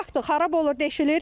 Baxdır, xarab olur, deşilir.